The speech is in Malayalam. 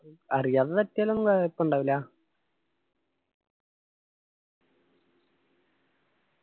അറിയാതെ തട്ടിയാലൊന്നും കൊയ്യപ്പുണ്ടാവില്ല